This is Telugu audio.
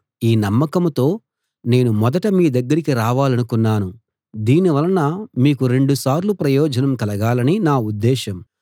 ఈ నమ్మకంతో నేను మొదట మీ దగ్గరికి రావాలనుకున్నాను దీనివలన మీకు రెండు సార్లు ప్రయోజనం కలగాలని నా ఉద్దేశం